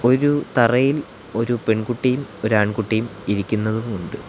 ഒരു തറയിൽ ഒരു പെൺകുട്ടിയും ഒരു ആൺകുട്ടിയും ഇരിക്കുന്നതും ഉണ്ട്.